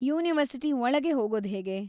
University ಒಳಗೆ ಹೋಗೋದ್ಹೇಗೆ?